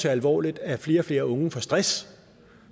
alvorligt at flere og flere unge får stress